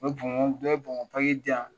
U ye bɔnbɔn dɔ ye bɔnbɔ diyan.